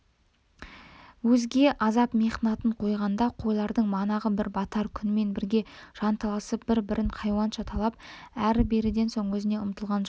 өзге азап-мехнатын қойғанда қойлардың манағы бір батар күнмен бірге жанталасып бір-бірін хайуанша талап әрі-беріден соң өзіне ұмтылған жат